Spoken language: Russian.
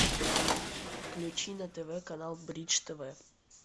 включи на тв канал бридж тв